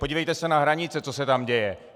Podívejte se na hranice, co se tam děje.